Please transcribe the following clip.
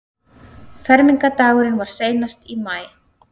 Fermingardagurinn var seinast í maí.